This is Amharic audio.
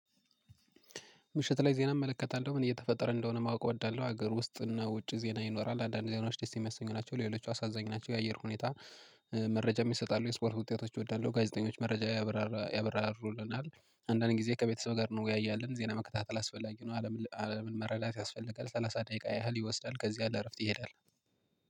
ምሽት ላይ ዜና እመለከታለሁ ምን እየተፈጠረ እንደሆነ ማወቅ እወዳለሁ ሀገር ውስጥና ውጭ ዜና ይኖራል አንዳንድ ዜናዎች ደስ የሚያሰኙ ናቸው ሌሎች አሳዛኝ ናቸው የአየር ሁኔታ። መረጃም ይሰጣሉ የስፖርት ውጤቶች እወዳለሁ ጋዜጠኞች መረጃ ያብራራሩልናል ያበራሩልናል አንዳንድ ጊዜ ከቤተሰብ ጋር ነው ያያልን ዜና መከታተል አስፈላጊ ነው። አለምን መረዳት ያስፈልጋል ሰላሳ ደቂቃ ያህል ይወስዳል። ከዚህ ያለ እረፍት ይሄዳል